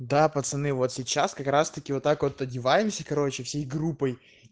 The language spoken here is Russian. да пацаны вот сейчас как раз таки вот так вот одеваемся короче всей группой